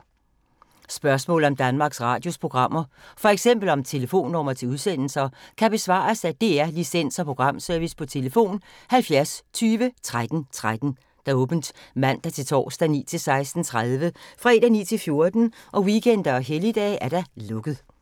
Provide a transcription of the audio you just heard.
Spørgsmål om Danmarks Radios programmer, f.eks. om telefonnumre til udsendelser, kan besvares af DR Licens- og Programservice: tlf. 70 20 13 13, åbent mandag-torsdag 9.00-16.30, fredag 9.00-14.00, weekender og helligdage: lukket.